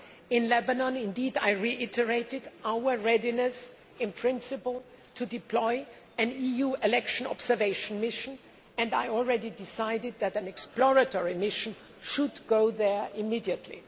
In Lebanon, I reiterated our readiness in principle to deploy an EU election observation mission, and I have already decided that an exploratory mission should go there immediately.